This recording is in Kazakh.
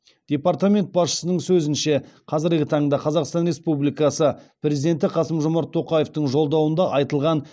департамент басшысының сөзінше қазіргі таңда қазақстан республикасы президенті қасым жомарт тоқаевтың жолдауында айтылған